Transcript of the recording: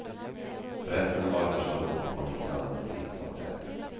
Pressen var för stor och hon gick sönder titt som tätt.